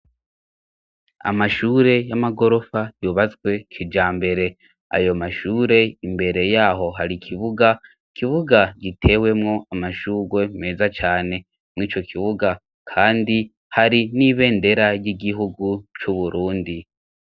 Amashure y'amagorofa yubazwe kija mbere ayo mashure imbere yaho hari ikibuga kibuga gitewemwo amashurwe meza cane mwo ico kibuga, kandi hari n'ibendera y'igihugu c'uburundi.